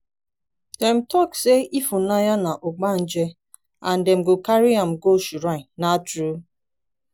dem talk say ifunanya be ogbanje and dem go carry am go shrine na true?